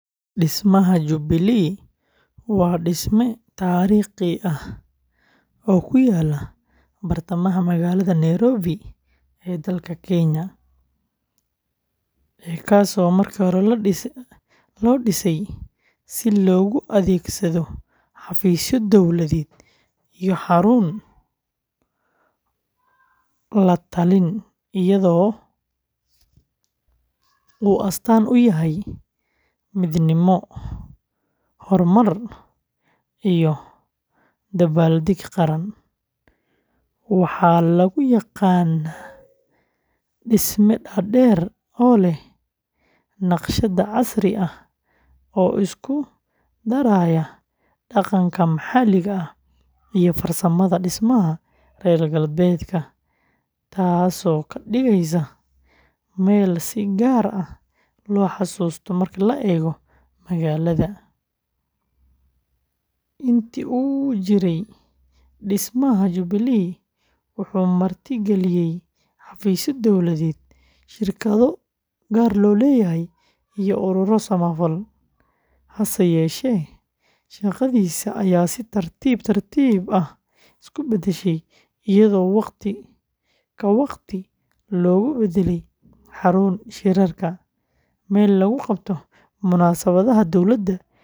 Dhismaha Jubilee waa dhisme taariikhi ah oo ku yaalla bartamaha magaalada Nairobi ee dalka Kenya, kaasoo markii hore la dhisay si loogu adeegsado xafiisyo dowladeed iyo xarun la-talin, iyadoo magaca uu astaan u yahay midnimo, horumar iyo dabaaldeg qaran; waxaa lagu yaqaan dhisme dhaadheer oo leh naqshad casri ah oo isku daraya dhaqanka maxalliga ah iyo farsamada dhismaha reer galbeedka, taasoo ka dhigaysa meel si gaar ah loo xasuusto marka la eego magaalada. Intii uu jiray, dhismaha Jubilee wuxuu marti galiyay xafiisyo dowladeed, shirkado gaar loo leeyahay, iyo ururo samafal, hase yeeshee shaqadiisa ayaa si tartiib tartiib ah isu beddeshay.